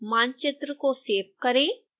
मानचित्र को सेव करें